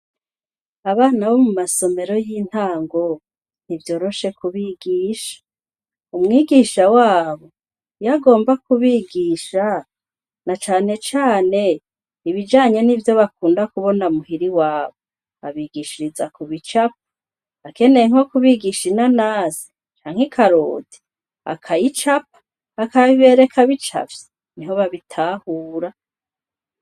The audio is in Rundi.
Abana bo mu masomero y'intango ntivyoroshe ku bigisha, umwigisha wabo iyagomba kubigisha na cane cane ibijanye n'ivyo bakunda kubona muhira iwabo babigishiriza ku bicapo, akeneye nko kubigisha inanasi canke ikaroti akayicapa, akayibereka bicaye, niho babitahure.